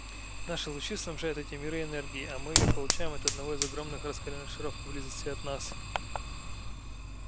наши лучи снабжают эти миры энергией а мы её получаем от одного из огромных раскалённых шаров поблизости от нас